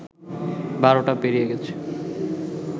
১২টা পেরিয়ে গেছে